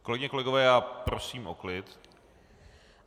Kolegyně, kolegové, já prosím o klid.